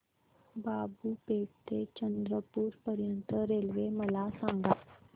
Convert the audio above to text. बाबूपेठ ते चंद्रपूर पर्यंत रेल्वे मला सांगा